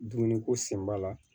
Dumuni ko sen b'a la